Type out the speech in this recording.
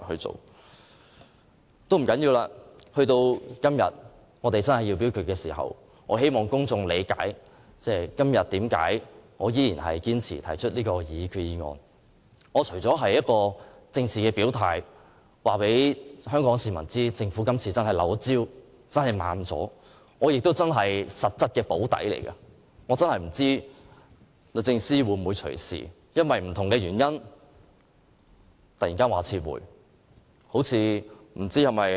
這也不要緊，我只希望公眾理解，我今天仍然堅持提出這項擬議決議案，是要作政治表態，告訴香港市民政府今次真的"漏招"，是怠慢了，我實際上是替政府"補底"，因為我不知道律政司會否隨時基於甚麼原因撤回擬議決議案。